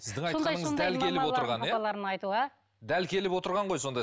сіздің айтқаныңыз дәл келіп отырған ғой сонда